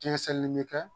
Jɛnkisɛ nin bɛ kɛ